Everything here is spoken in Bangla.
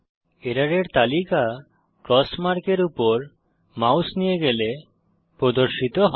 এররের তালিকা ক্রস মার্ক এর উপর মাউস নিয়ে গেলে প্রদর্শিত হয়